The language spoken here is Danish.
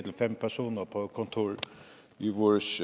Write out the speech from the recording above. fem personer på et kontor i vores